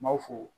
N m'aw fo